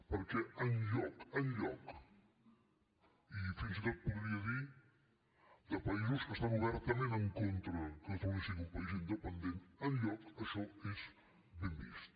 perquè enlloc enlloc i fins i tot podria dir de països que estan obertament en contra que catalunya sigui un país independent enlloc això és ben vist